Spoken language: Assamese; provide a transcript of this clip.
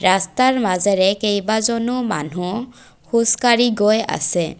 ৰাস্তাৰ মাজেৰে কেইবাজনো মানুহ খোজকাঢ়ি গৈ আছে।